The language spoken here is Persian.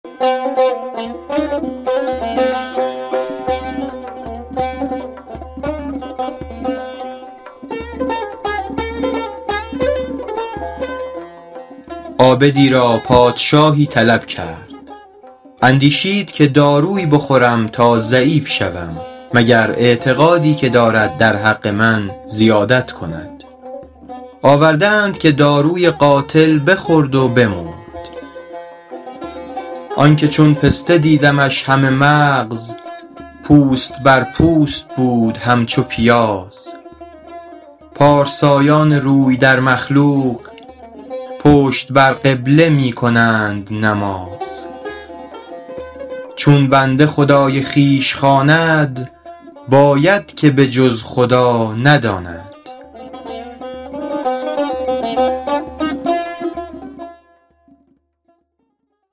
عابدی را پادشاهی طلب کرد اندیشید که دارویی بخورم تا ضعیف شوم مگر اعتقادی که دارد در حق من زیادت کند آورده اند که داروی قاتل بخورد و بمرد آن که چون پسته دیدمش همه مغز پوست بر پوست بود همچو پیاز پارسایان روی در مخلوق پشت بر قبله می کنند نماز چون بنده خدای خویش خواند باید که به جز خدا نداند